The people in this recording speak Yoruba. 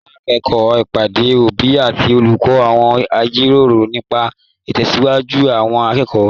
L'akoko ìpàdé òbí àti olùkọ́, wọn jíròrò nípa itẹsiwaju àwọn akẹ́kọ̀ọ́.